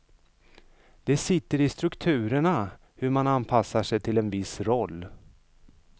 Det sitter i strukturerna, hur man anpassar sig till en viss roll.